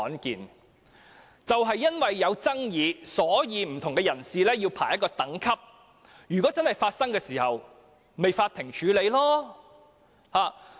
正正因為有爭議，所以便要為不同人士排列等級，如果真的發生問題，便交由法院處理。